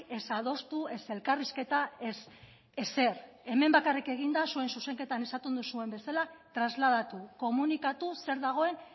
ez adostu ez elkarrizketa ez ezer hemen bakarrik egin da zuen zuzenketan esaten duzuen bezala trasladatu komunikatu zer dagoen